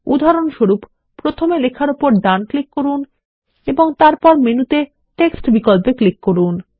উদাহরণস্বরূপ প্রথমে লেখার উপর ডান ক্লিক করুন এবং তারপর মেনুতে টেক্সট বিকল্পে ক্লিক করুন